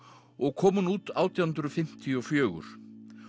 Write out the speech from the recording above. og kom hún út átján hundruð fimmtíu og fjögur